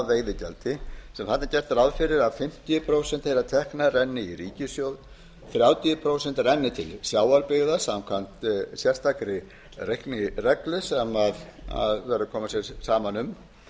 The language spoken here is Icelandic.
veiðigjaldi sem hafi gert ráð fyrir að fimmtíu prósent þeirra ekki í ríkissjóð þrjátíu prósent renna til sjávarbyggða samkvæmt sérstakri reiknireglu sem þarf að koma sér saman um